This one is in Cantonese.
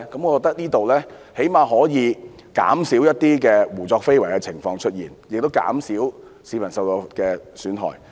我覺得這樣最少可以減少一些胡作非為的情況，亦減少市民受到的損害。